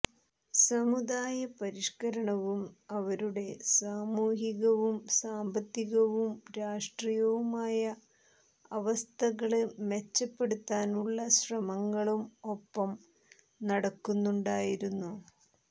സമുദായ പരിഷ്കരണവും അവരുടെ സാമൂഹികവും സാമ്പത്തികവും രാഷ്ട്രീയവുമായ അവസ്ഥകള് മെച്ചപ്പെടുത്താനുള്ള ശ്രമങ്ങളും ഒപ്പം നടക്കുന്നുണ്ടായിരുന്നു